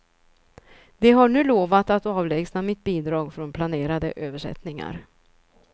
De har nu lovat att avlägsna mitt bidrag från planerade översättningar.